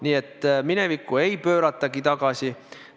Nii et minevikku ei pööratagi tagasi.